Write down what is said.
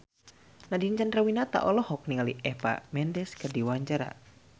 Nadine Chandrawinata olohok ningali Eva Mendes keur diwawancara